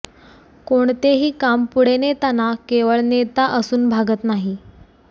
कोणतेही काम पुढे नेताना केवळ नेता असून भागत नाही